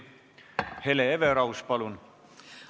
Hele Everaus, palun!